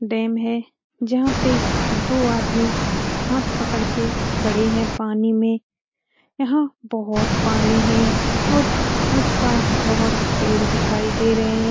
Dam है जहाँ पे दो आदमी हाथ पकड़ के खड़े है पानी में यहाँ बहुत पानी है और उस पार बहुत पेड़ दिखाई दे रहे हैं।